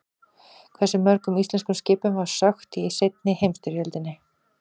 Hversu mörgum íslenskum skipum var sökkt í seinni heimsstyrjöldinni?